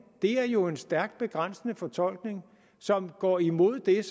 er jo en stærkt begrænsende fortolkning som går imod det